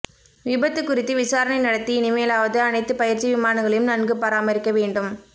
விபத்து குறித்து விசாரணை நடத்தி இனிமேலாவது அனைத்துப் பயிற்சி விமானங்களையும் நன்கு பராமரிக்க வேண்டும்